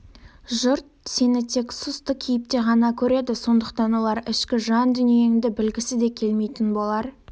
жұрт сені тек сұсты кейіпте ғана көреді сондықтан олар ішкі жан-дүниеңді білгісі де келмейтін болар